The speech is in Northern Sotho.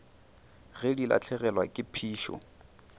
ge di lahlegelwa ke phišo